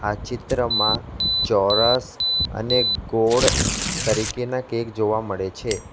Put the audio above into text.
આ ચિત્રમાં ચોરસ અને ગોળ તરીકેના કેક જોવા મળે છે.